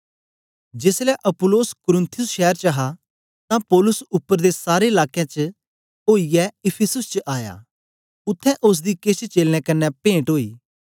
जेसलै अपुल्लोस कुरिन्थुस शैर च हा तां पौलुस उपर दे सारे लाकें चा ओईयै इफिसुस च आया उत्थें ओसदी केछ चेलें कन्ने पेंट ओई